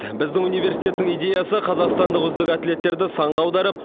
біздің университеттің идеясы қазақстандық үздік атлеттерді санға аударып